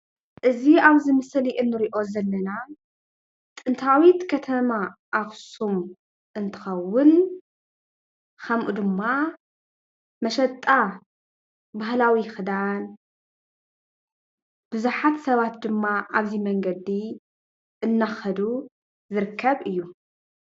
እዚ ኣብዚ ምስሊ እንሪኦ ዘለና ጥንታዊት ከተማ ኣክሱም እንትከውን ከምኡ ድማ መሸጣ ባህላዊ ክዳን ቡዙሓት ሰባት ድማ ኣብዚ መንገዲ እንዳከዱ ዝርከብ እዩ፡፡